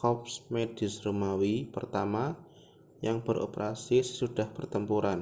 korps medis romawi pertama yang beroperasi sesudah pertempuran